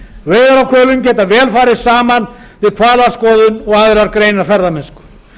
veiðar á hvölum geta vel farið saman við hvalaskoðun og aðrar greinar ferðamennsku